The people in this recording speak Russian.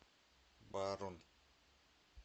барун